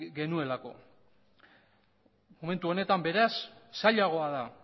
genuelako momentu honetan beraz zailagoa da